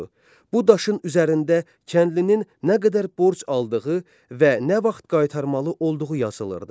Bu daşın üzərində kəndlinin nə qədər borc aldığı və nə vaxt qaytarmalı olduğu yazılırdı.